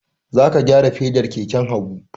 Za ka gyara fedar keken Habu!